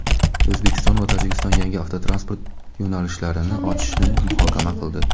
O‘zbekiston va Tojikiston yangi avtotransport yo‘nalishlarini ochishni muhokama qildi.